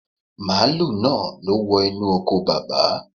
Màálù náà ló wọ inú oko Bàbá.